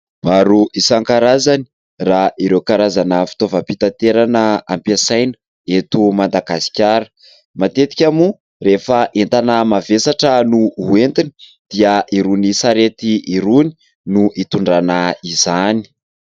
Maro isankarazany raha ireo karazana fitaovam-pitaterana ampiasaina eto Madagasikara ; matetika moa rehefa entana mavesatra no ho entina dia irony sarety irony no hitondrana izany.